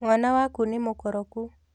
Mwana waku nĩmũkoroku